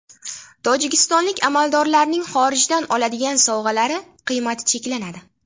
Tojikistonlik amaldorlarning xorijdan oladigan sovg‘alari qiymati cheklanadi.